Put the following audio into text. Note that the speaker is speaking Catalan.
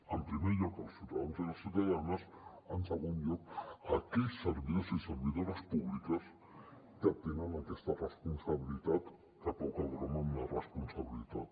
en primer lloc als ciutadans i a les ciutadanes en segon lloc a aquells servidors i servidores públiques que tenen aquesta responsabilitat que poca broma amb la responsabilitat